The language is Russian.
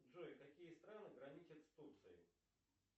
джой какие страны граничат с турцией